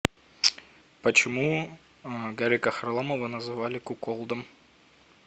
почему гарика харламова называли куколдом